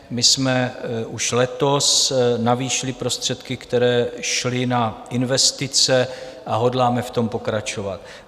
My jsme už letos navýšili prostředky, které šly na investice, a hodláme v tom pokračovat.